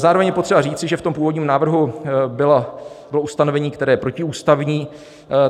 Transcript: Zároveň je potřeba říci, že v tom původním návrhu bylo ustanovení, které je protiústavní.